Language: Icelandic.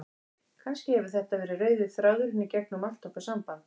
Kannski hefur þetta verið rauði þráðurinn í gegnum allt okkar samband.